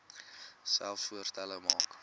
selfs voorstelle maak